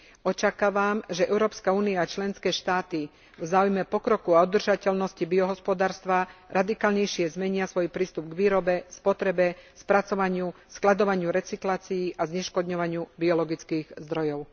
Očakávam, že Európska únia a členské štáty v záujme pokroku a udržateľnosti biohospodárstva radikálnejšie zmenia svoj prístup k výrobe, spotrebe, spracovaniu, skladovaniu, recyklácii a zneškodňovaniu biologických zdrojov.